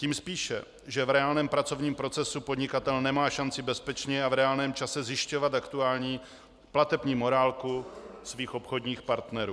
Tím spíše, že v reálném pracovním procesu podnikatel nemá šanci bezpečně a v reálném čase zjišťovat aktuální platební morálku svých obchodních partnerů.